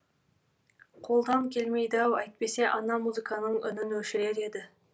қолдан келмейді ау әйтпесе ана музыканың үнін өшірер еді